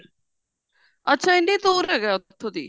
ਅੱਛਾ ਇੰਨੀ ਦੁਰ ਹੈਗਾ ਉੱਥੋਂ ਦੀ